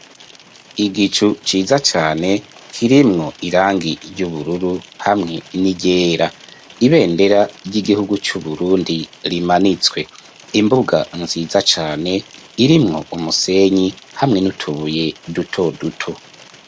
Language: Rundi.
Igicu ciza cane kirimwo irangi ry’ubururu hamwe n'iryera, ibendera ry'igihugu c'uburundi rimanitswe. imbuga nziza cane irimwo umusenyi hamwe niutubuye dutoduto.